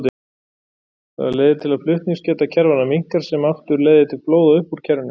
Það leiðir til að flutningsgeta kerfanna minnkar sem aftur leiðir til flóða upp úr kerfinu.